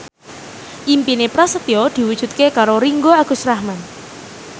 impine Prasetyo diwujudke karo Ringgo Agus Rahman